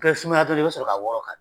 Kɛ sumaya dɔɔni, i bɛ sɔrɔ ka wɔrɔ ka